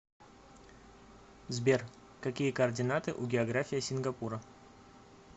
сбер какие координаты у география сингапура